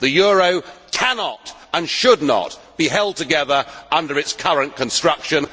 The euro cannot, and should not, be held together under its current construction.